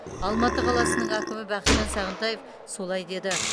алматы қаласының әкімі бақытжан сағынтаев солай деді